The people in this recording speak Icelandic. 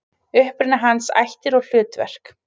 Uppruni hans, ættir og hlutverk.